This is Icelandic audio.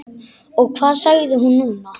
Og hvað sagði hún núna?